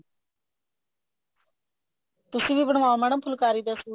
ਤੁਸੀਂ ਵੀ ਬਣਵਾਉ madam ਫੁਲਕਾਰੀ ਦਾ suit